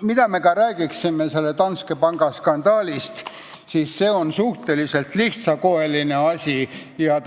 Mida me ka räägiksime Danske panga skandaalist, see on suhteliselt lihtsakoeline asi ja